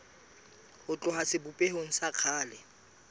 ho tloha sebopehong sa kgale